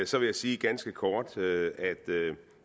så vil jeg sige ganske kort at